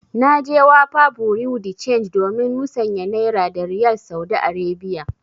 Na je Wapa bureau de change domin musanya Naira da Riyal Saudi Arabiya.